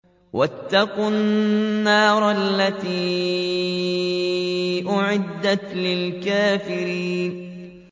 وَاتَّقُوا النَّارَ الَّتِي أُعِدَّتْ لِلْكَافِرِينَ